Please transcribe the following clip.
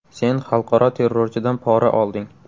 Sen xalqaro terrorchidan pora olding.